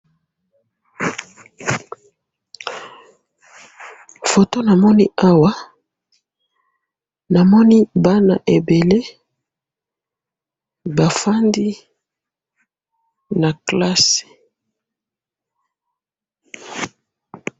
photo namoni awa, namoni bana ebele bafandi na classe